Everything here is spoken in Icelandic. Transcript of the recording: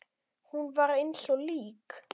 Hún var eins og lík.